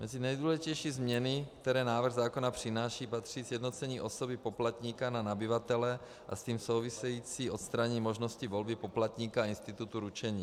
Mezi nejdůležitější změny, které návrh zákona přináší, patří sjednocení osoby poplatníka na nabyvatele a s tím související odstranění možnosti volby poplatníka a institutu ručení.